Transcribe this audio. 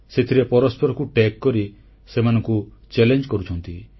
ସେଥିରେ ପରସ୍ପରକୁ ଯୋଡି କରି ସେମାନଙ୍କୁ ଚଲେଞ୍ଜ କରୁଛନ୍ତି